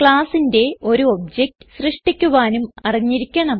classന്റെ ഒരു ഒബ്ജക്ട് സൃഷ്ടിക്കുവാനും അറിഞ്ഞിരിക്കണം